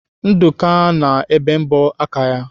Nduka na-ebe mbọ aka ya.